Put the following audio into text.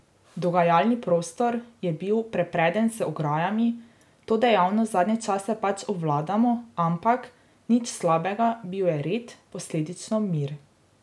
Dogajalni prostor je bil prepreden z ograjami, to dejavnost zadnje čase pač obvladamo, ampak, nič slabega, bil je red, posledično mir.